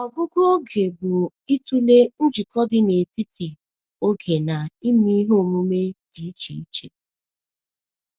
Ọgụgụ oge bụ ịtụle njikọ dị n’etiti oge na ihe omume dị iche iche.